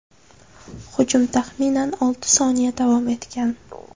Hujum taxminan olti soniya davom etgan.